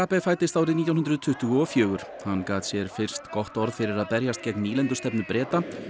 fæddist árið nítján hundruð tuttugu og fjögur hann gat sér fyrst orð fyrir að berjast gegn nýlendustefnu Breta